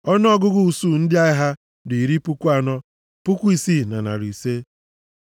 Ọnụọgụgụ usuu ndị agha ha dị iri puku anọ, puku isii na narị ise (46,500).